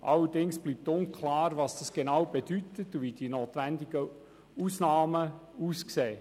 Allerdings bleibt unklar, was dies genau bedeutet und wie die notwendigen Ausnahmen aussehen.